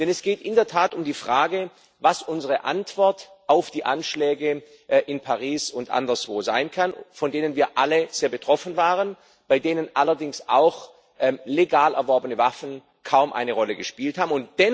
Denn es geht in der Tat um die Frage, was unsere Antwort auf die Anschläge in Paris und anderswo sein kann, von denen wir alle sehr betroffen waren, bei denen allerdings legal erworbene Waffen kaum eine Rolle gespielt haben.